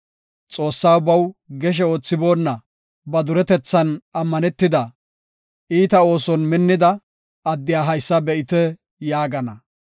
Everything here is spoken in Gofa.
“Xoossaa baw geshe oothiboonna, ba duretethan ammanetida, iita ooson minnida, addiya haysa be7ite” yaagana.